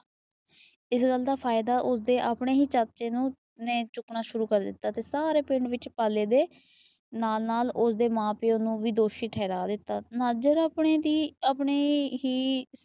ਇਸ ਗੱਲ ਦਾ ਫਾਇਦਾ ਉਸਦੇ ਆਪਣੇ ਹੀ ਚਾਚੇ ਨੇ ਚੁੱਕਣਾ ਸ਼ੁਰੂ ਕਰ ਦਿੱਤਾ। ਤੇ ਸਾਰੇ ਪਿੰਡ ਵਿੱਚ ਪਾਲੇ ਦੇ ਨਾਲ ਨਾਲ ਉਸਦੇ ਮਾਂ ਪਿਓ ਨੂੰ ਵੀ ਦੋਸ਼ੀ ਠਹਿਰਾ ਦਿੱਤਾ। ਜਿਹੜਾ ਆਪਣੇ ਹੀ